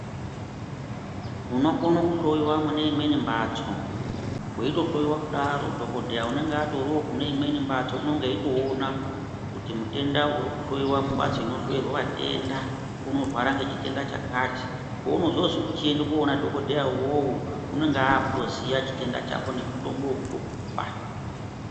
Unokone kuhloiwa mune imweni mbatso. Weitohloiwa kudaro dhokodheya unenge atoriwo kune imweni mbatso unenge eitoona kuti mutenda uri kuhloiwa mumbatso inohloerwa vatenda unorwara ngechitenda chakati. Peunozozwi kuchienda koona dhokodheya uwowo unenge aakutoziya chitenda chako nemutombo wekutokupa.